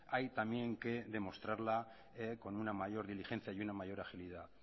hay también que demostrarla con una mayor diligencia y una mayor agilidad